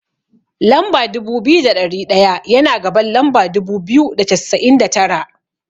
Lamba dubu biyu da ɗari ɗaya, yana gaban lamba dubu biyu da cassa'in da tara.